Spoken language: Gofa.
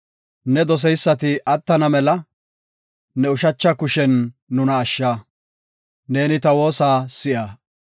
Ne doseysati attana mela, ne ushacha kushen nuna ashsha; neeni ta woosa si7a.